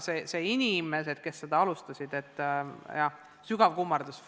Neile inimestele, kes seal alustasid, sügav kummardus.